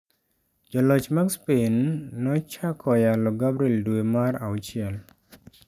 Joloch mag Spain nochako yalo Gabriele dwe mar auchiel.